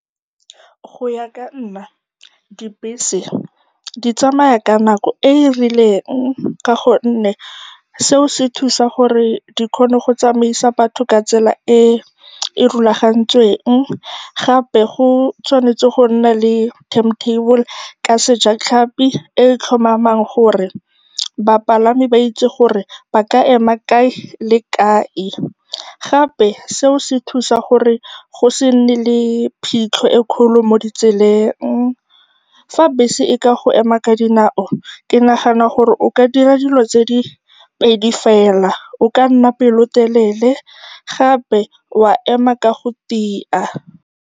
Go ya ka nna, dibese di tsamaya ka nako e e rileng ka gonne seo se thusa gore di kgone go tsamaisa batho ka tsela e e rulagantsweng. Gape go tshwanetse go nna le time-table, ka sejatlhapi, e e tlhomamang gore bapalami ba itse gore ba ka ema kae le kae. Gape seo se thusa gore go se nne le phitlho e e kgolo mo ditseleng. Fa bese e ka go ema ka dinao, ke nagana gore o ka dira dilo tse pedi fela, o ka nna pelotelele gape wa ema ka go tia.